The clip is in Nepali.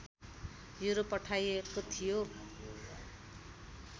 युरोप पठाइएको थियो